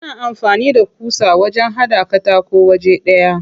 Ana amfani da ƙusa wajen haɗa katako waje ɗaya.